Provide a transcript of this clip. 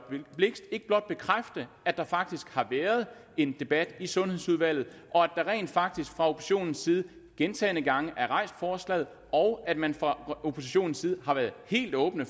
blixt ikke blot bekræfte at der faktisk har været en debat i sundhedsudvalget og at man rent faktisk fra oppositionens side gentagne gange har rejst forslaget og at man fra oppositionens side har været helt åbne